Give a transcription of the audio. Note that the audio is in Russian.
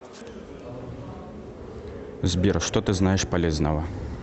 сбер что ты знаешь полезного